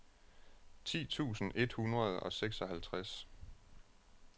ti tusind et hundrede og seksoghalvtreds